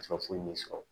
foyi min sɔrɔ